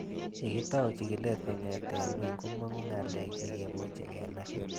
Ye kitau chig'ilet kong'ete ng'weny komang'u ng'alek che kimache kenai